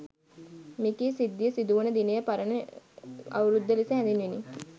මෙකී සිද්ධිය සිදු වන දිනය පරණ අවුරුද්ද ලෙස හැඳින්විණි.